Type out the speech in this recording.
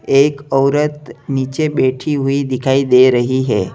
एक औरत नीचे बैठी हुई दिखाई दे रही है।